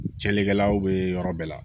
Cɛnlikɛlaw bɛ yɔrɔ bɛɛ la